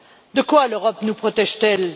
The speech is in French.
De quoi l'Europe nous protège t elle?